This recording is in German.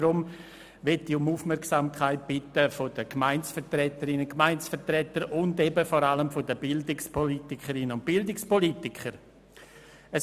Deshalb möchte ich um die Aufmerksamkeit der Gemeindevertreterinnen und Gemeindevertreter sowie vor allem der Bildungspolitikerinnen und Bildungspolitiker bitten.